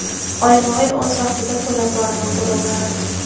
Oyma-oy o‘z vaqtida to‘lab boraman to‘lovlarini.